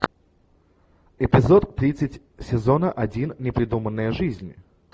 эпизод тридцать сезона один не придуманная жизнь